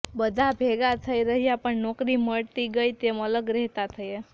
બધા ભેગા રહ્યા પણ નોકરી મળતી ગઈ તેમ અલગ રહેતા થયા